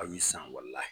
A bɛ san wala